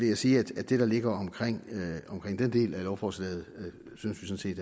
jeg sige at det der ligger omkring den del af lovforslaget synes vi